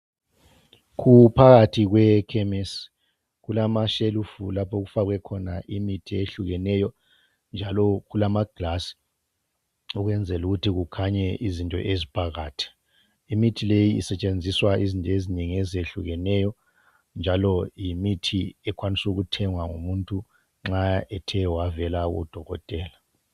Kuphakathi kwe khemesi kulamashelufu lapho okufakwe khona imithi eyehlukeneyo njalo kulamaglasi ukwenzela ukut kukhanye izinto eziphakat imithi leyi isetshenziswa izinto ezinengi ezehlukeneyo njalo yimithi ekwanisa ukuthengwa ngumuntu nxa ethe wavela kudokotela